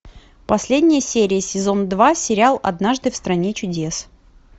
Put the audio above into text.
последняя серия сезон два сериал однажды в стране чудес